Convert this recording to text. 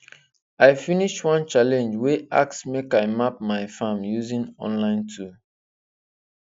i finish one challenge wey ask make i map my farm using online tool